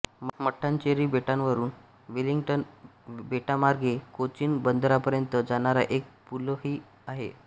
मट्टानचेरी बेटावरून विलिंग्डन बेटामार्गे कोचीन बंदरापर्यंत जाणारा एक पूलही आहे